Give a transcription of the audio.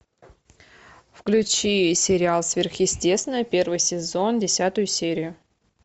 включи сериал сверхъестественное первый сезон десятую серию